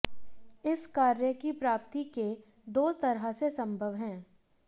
इस कार्य की प्राप्ति के दो तरह से संभव है